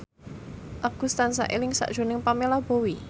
Agus tansah eling sakjroning Pamela Bowie